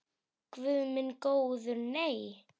Guð minn góður nei.